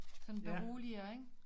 Sådan beroliger ikke